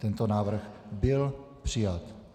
Tento návrh byl přijat.